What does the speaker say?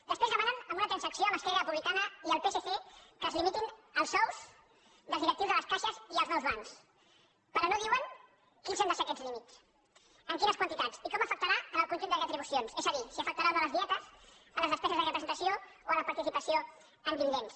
després demanen en una transacció amb esquerra republicana i el psc que es limitin els sous dels di·rectius de les caixes i els nous bancs però no diuen quins han de ser aquests límits en quines quantitats i com afectarà al conjunt de retribucions és a dir si afectarà o no les dietes les despeses de representació o la participació en dividends